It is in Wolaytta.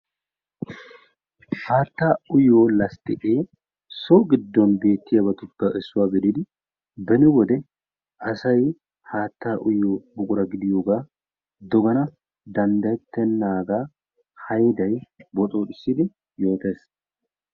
Haattaa uyiyo lastiqee so gidon beettiyabattuppe issuwa gididi beni wode asay haattaa uyido buqura gidiyoogaa dogana dandayettennagaa haydday boxxoxissid yotees.